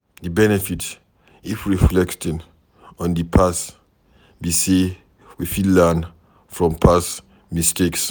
Di benefit if reflecting on di past be sey we fit learn from past mistakes